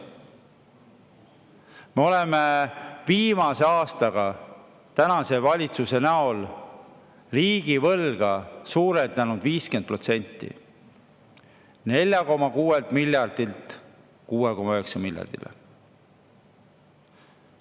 Me oleme viimase aastaga tänase valitsuse riigivõlga suurenenud 50%: 4,6 miljardilt 6,9 miljardile.